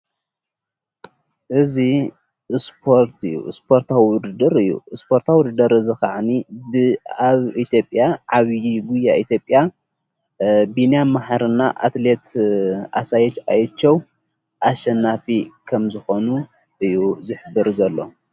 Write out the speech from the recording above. እዙ ርትእዩ እስፖርታው ውድድር እዩ እስጶርታዊ ድደር ዝ ኸዓኒ ብኣብ ኢቶብያ ዓብዪ ጕያ ኢቲብያ ብናያ መህርና ኣትሌት ኣሣየት ኣየችው ኣሸናፊ ከም ዝኾኑ እዩ ዝኅብር ዘሎ።